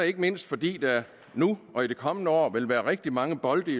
ikke mindst fordi der nu og i det kommende år vil være rigtig mange bolde